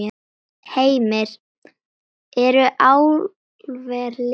Heimir: Eru álver liðin tíð?